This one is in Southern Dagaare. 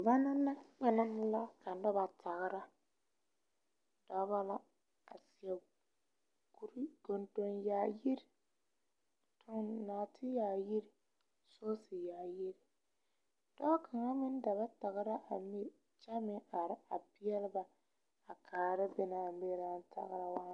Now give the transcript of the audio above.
Banalakpalaŋ la ka noba tagra dɔba la a seɛ kuri gundu yaayi a tuŋ nɔɔte yaayi sɔɔse yaayi dɔɔ kaŋa meŋ da ba tagra a miri kyɛ meŋ are a peɛle ba a kaara be na a miri naŋ tagra waa.